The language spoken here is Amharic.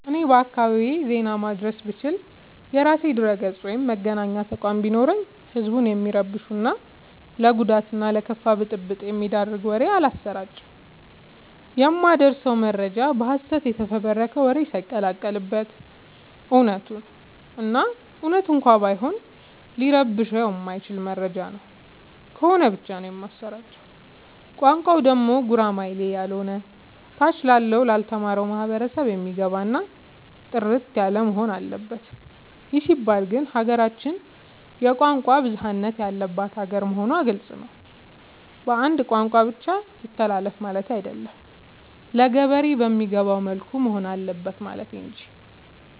እኔ በአካባቢዬ ዜና ማድረስ ብችል። የራሴ ድረገፅ ወይም መገናኛ ተቋም ቢኖረኝ ህዝብን የሚረብሹ እና ለጉዳት እና ለከፋ ብጥብ የሚዳርግ መረጃ አላሰራጭም። የማደርሰው መረጃ በሀሰት የተፈበረከ ወሬ ሳይቀላቀል በት እውነቱን እና እውነት እንኳን ቢሆን ሊረብሸው የማይችል መረጃ ነው ከሆነ ብቻ ነው የማሰራጨው። ቋንቋው ደግሞ ጉራማይሌ ያሎነ ታች ላለው ላልተማረው ማህበረሰብ የሚገባ እና ጥርት ያለወሆን አለበት ይህ ሲባል ግን ሀገራችን የቋንቋ ብዙሀለት ያለባት ሀገር መሆኗ ግልፅ ነው። በአንድ ቋንቋ ብቻ ይተላለፍ ማለቴ አይደለም ለገበሬ በሚገባው መልኩ መሆን አለበት ማለት እንጂ።